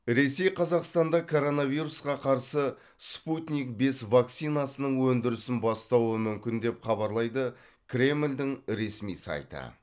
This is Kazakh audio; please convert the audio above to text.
ресей қазақстанда коронавирусқа қарсы спутник бес вакцинасының өндірісін бастауы мүмкін деп хабарлайды кремльдің ресми сайты